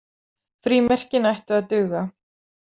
Frímerkin ættu að duga.